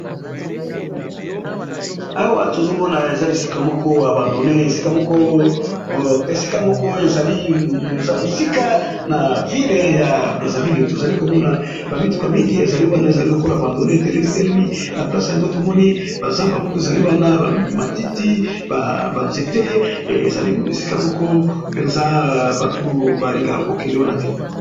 Awa tozomona ea moko ya bandone esika moko eza mosika na ville ya braserville tozali komona bamituka mingi ezali wana ezali lokolo bandone etelemi telemi na place yango tomoni bazamba moko ezali wana bamatiti banzete ezali esika moko mpenza bato balingaka kokende wana te.